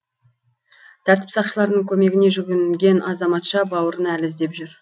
тәртіп сақшыларының көмегіне жүгінген азаматша бауырын әлі іздеп жүр